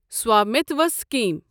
Swamitva scheme